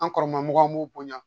An kɔrɔla mɔgɔw b'u bonya